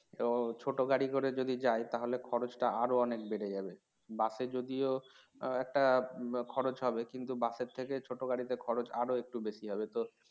ও ছোট গাড়ি করে যদি যায় তাহলে খরচটা আরও অনেক বেড়ে যাবে বাসে যদিও একটা খরচ হবে কিন্তু বাসের থেকে ছোট গাড়িতে খরচ আরও একটু বেশি হবে তো